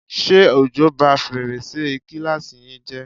Ṣé òjò bá fèrèsé kíláàsì yín jẹ́?